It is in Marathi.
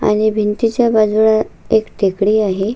आणि भिंतीच्या बाजूला एक टेकडी आहे.